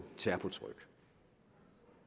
terpo tryk